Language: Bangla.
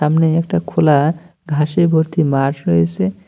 সামনে একটা খোলা ঘাসে ভর্তি মাঠ রয়েসে।